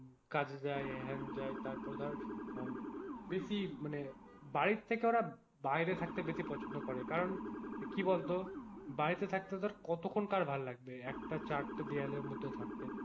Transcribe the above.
কাজে যায় হেন যায় তারপর ধর বেশি মানে বাড়ি থেকে ওরা বাইরে থাকে ওরা বেশি পছন্দ করে কারণ কি বলতো বাড়িতে থাকতে ওদের কতক্ষন কার ভালো লাগবে একটা চারটা দেওয়ালের মধ্যে থাকতে,